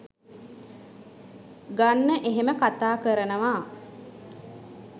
ගන්න එහෙම කතා කරනවා